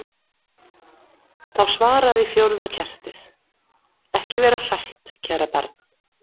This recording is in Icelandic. Þá svaraði fjórða kertið: Ekki vera hrætt, kæra barn.